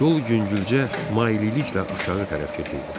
Yol yüngülcə maililiklə aşağı tərəf gedirdi.